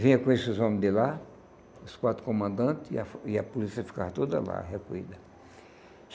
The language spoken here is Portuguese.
Vinha com esses homens de lá, os quatro comandantes, e a e a polícia ficava toda lá, recolhida.